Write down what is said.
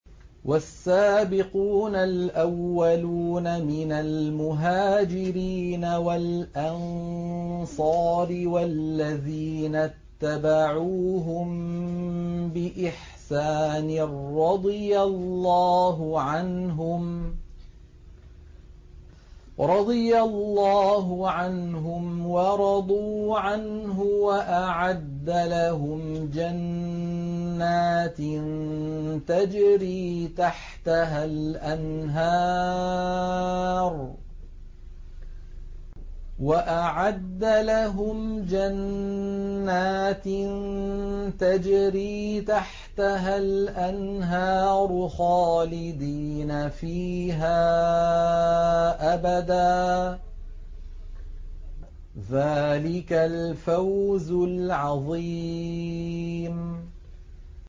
وَالسَّابِقُونَ الْأَوَّلُونَ مِنَ الْمُهَاجِرِينَ وَالْأَنصَارِ وَالَّذِينَ اتَّبَعُوهُم بِإِحْسَانٍ رَّضِيَ اللَّهُ عَنْهُمْ وَرَضُوا عَنْهُ وَأَعَدَّ لَهُمْ جَنَّاتٍ تَجْرِي تَحْتَهَا الْأَنْهَارُ خَالِدِينَ فِيهَا أَبَدًا ۚ ذَٰلِكَ الْفَوْزُ الْعَظِيمُ